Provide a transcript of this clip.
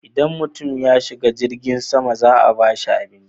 Idan mutum ya shiga jirgin sama za a bashi abinci.